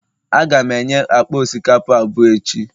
Aga m enye akpa osikapa abụọ echi